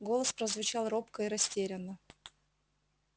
голос прозвучал робко и растерянно